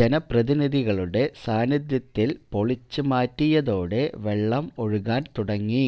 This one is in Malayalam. ജനപ്രതിനിധികളുടെ സാന്നിധ്യത്തില് പൊളിച്ച് മാറ്റിയതോടെ വെള്ളം ഒഴുകാന് തുടങ്ങി